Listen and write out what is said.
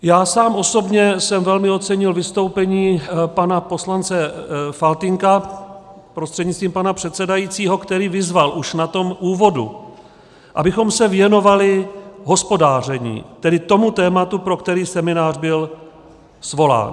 Já sám osobně jsem velmi ocenil vystoupení pana poslance Faltýnka prostřednictvím pana předsedajícího, který vyzval už na tom úvodu, abychom se věnovali hospodaření, tedy tomu tématu, pro který seminář byl svolán.